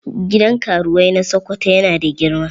Gidan karuwai na Sokoto yana da girma.